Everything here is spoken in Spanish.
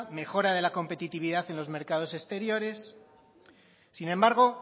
mejora de la competitividad en los mercados exteriores sin embargo